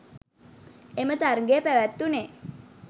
එම තරඟය පැවැත්වුණේ